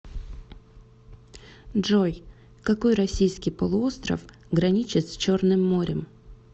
джой какой российский полуостров граничит с черным морем